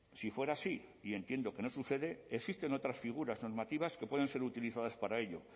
si fuera así y entiendo que no sucede existen otras figuras normativas que pueden ser utilizadas para ello